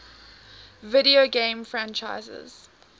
video game franchises